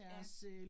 Ja